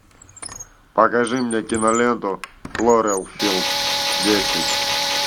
покажи мне киноленту кловерфилд десять